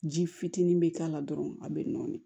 Ji fitinin bɛ k'a la dɔrɔn a bɛ nɔɔni